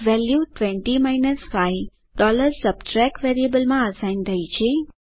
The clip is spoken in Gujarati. વેલ્યુ 20 5 subtract વેરિયેબલમાં અસાઇન થઇ છે